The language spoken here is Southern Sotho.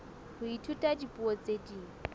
ho ithuta dipuo tse ding